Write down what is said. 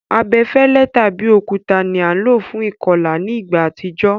Abefẹ́lẹ́ tàbi òkúta ni a lo fún ìkolà ni ìgbà àtijó